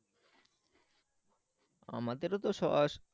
আমাদেরও তো সস